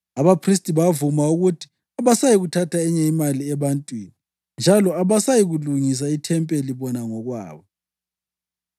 Abaphristi bavuma ukuthi abasayikuthatha enye imali ebantwini njalo abasayikulungisa ithempeli bona ngokwabo.